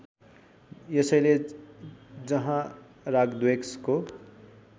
यसैले जहाँ रागद्वेषको